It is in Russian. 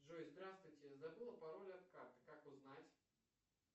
джой здравствуйте забыл пароль от карты как узнать